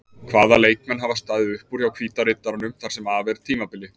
Hvaða leikmenn hafa staðið upp úr hjá Hvíta riddaranum þar sem af er tímabili?